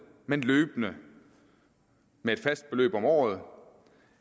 men løbende med et fast beløb om året